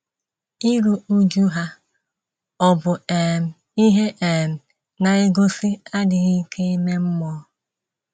Iru újú ha ọ̀ bụ um ihe um na - egosi adịghị ike ime mmụọ??